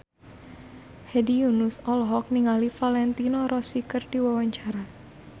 Hedi Yunus olohok ningali Valentino Rossi keur diwawancara